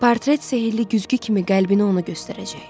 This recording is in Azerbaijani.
Portret sehirli güzgü kimi qəlbini ona göstərəcək.